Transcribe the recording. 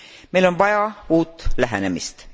Meil on vaja uut lähenemist.